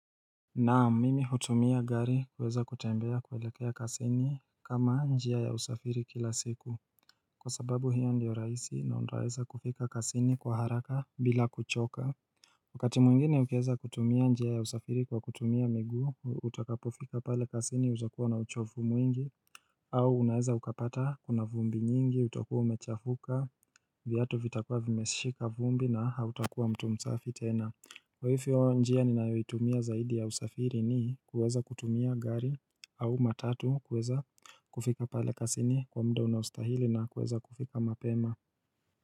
Naam mimi hutumia gari kuweza kutembea kuelekea kazini kama njia ya usafiri kila siku Kwa sababu hio ndio rahisi na unaeza kufika kazini kwa haraka bila kuchoka Wakati mwingine ukieza kutumia njia ya usafiri kwa kutumia miguu utakapofika pale kazini utakuwa na uchovu mwingi au unaeza ukapata kuna vumbi nyingi utakuwa umechafuka viatu vitakuwa vimeshika vumbi na hautakuwa mtu msafi tena Kwa hivyo njia ninayoitumia zaidi ya usafiri ni kuweza kutumia gari au matatu kuweza kufika pale kazini kwa muda unaostahili na kuweza kufika mapema.